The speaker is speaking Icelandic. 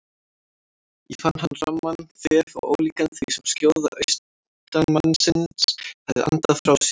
Þá fann hann ramman þef og ólíkan því sem skjóða austanmannsins hafði andað frá sér.